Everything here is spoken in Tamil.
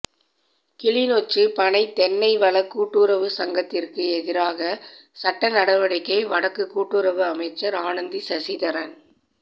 கிளிநொச்சி பனை தென்னை வள கூட்டுறவுச் சங்கத்திற்கு எதிராக சட்ட நடவடிக்கை வடக்கு கூட்டுறவு அமைச்சர் அனந்தி சசிதரன்